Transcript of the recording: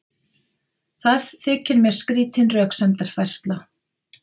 Það þykir mér skrýtin röksemdafærsla.